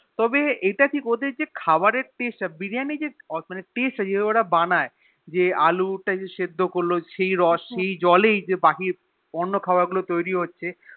তবে এটা কি ওদের যে খাবার এর Taste তা Biriyanir taste টা যেটএ ওরা বানায়ে মানে আলু সেদ্ধ করলো সেই রোষ সেই সেই যেই জলেই যে বাকি অন্য খাবার গুলো তৈরী হচ্ছে